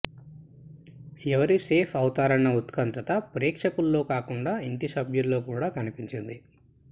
ఎవరు సేఫ్ అవుతారన్న ఉత్కంఠ ప్రేక్షకుల్లో కాకుండా ఇంటి సభ్యుల్లో కూడా కనిపించింది